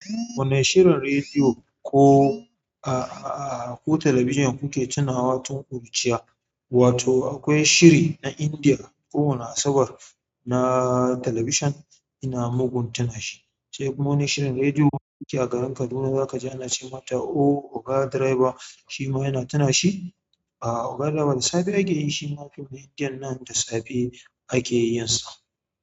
Wane shirin rediyo ko a-a-a ko talabijin kuke tunawa tun ƙuruciya? Wato akwai shiri na India kowani Asabar na talabijin ina mugun tuna shi. Sai kuma wani shirin rediyo akeyi a garin Kaduna za ka ji ana ce mata "Oh oga driver" shi ma ina tuna shi. A oga driver da safe ake yi shi ma fim na indiyan nan da safe ake yinsa.